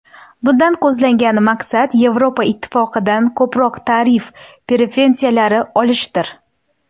Bundan ko‘zlangan maqsad Yevropa Ittifoqidan ko‘proq tarif preferensiyalari olishdir.